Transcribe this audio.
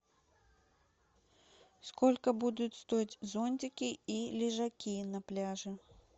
сколько будут стоить зонтики и лежаки на пляже